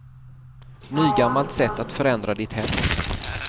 Nygammalt sätt att förändra ditt hem.